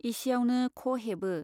एसे आवनो ख' हेबो।